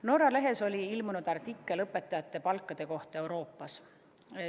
Norra lehes ilmus artikkel õpetajate palkade kohta Euroopas.